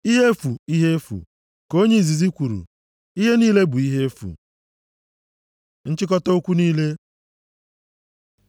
“Ihe efu! Ihe efu!” ka onye ozizi kwuru. “Ihe niile bụ ihe efu!” Nchịkọta okwu niile